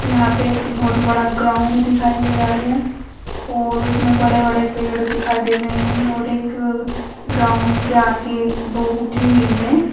यहाँ पे एक बोहोत बड़ा ग्राउन्ड दिखाई दे रह है और उसमे बड़े-बड़े पेड़ दिखाई दे रहे है और एक अ ग्राउन्ड के आगे ब उठी हुई है।